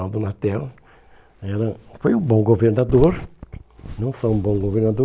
O Laudo Latel era foi um bom governador, não só um bom governador,